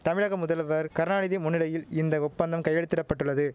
தமிழக முதல்வர் கருணாநிதி முன்னிலையில் இந்த ஒப்பந்தம் கையெழுத்திடப்பட்டுள்ளது